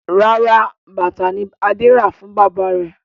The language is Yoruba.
Rárá, bàtà ni Adé rà fún bàbá rẹ̀.